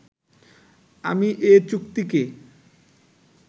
আমি এ চুক্তিকে